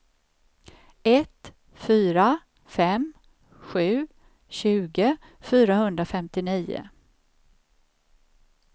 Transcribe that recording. ett fyra fem sju tjugo fyrahundrafemtionio